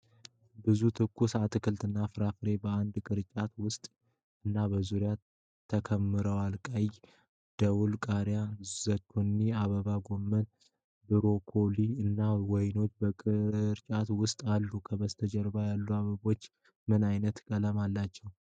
ብዙ ትኩስ አትክልትና ፍራፍሬዎች በአንድ ቅርጫት ውስጥ እና በዙሪያው ተከምረዋል። ቀይ ደወል ቃሪያ፣ ዙኪኒ፣ አበባ ጎመን፣ ብሮኮሊ እና ወይኖች በቅርጫቱ ውስጥ አሉ። ከበስተጀርባ ያሉት አበቦች ምን አይነት ቀለም አላቸው?